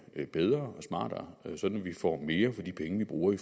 bedre og smartere sådan at vi får mere for de penge vi bruger i